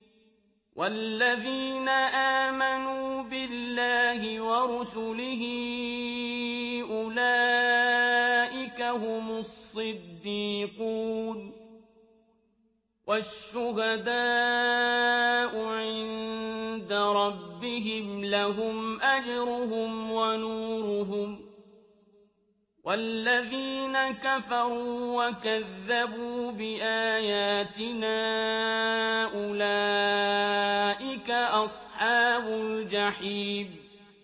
وَالَّذِينَ آمَنُوا بِاللَّهِ وَرُسُلِهِ أُولَٰئِكَ هُمُ الصِّدِّيقُونَ ۖ وَالشُّهَدَاءُ عِندَ رَبِّهِمْ لَهُمْ أَجْرُهُمْ وَنُورُهُمْ ۖ وَالَّذِينَ كَفَرُوا وَكَذَّبُوا بِآيَاتِنَا أُولَٰئِكَ أَصْحَابُ الْجَحِيمِ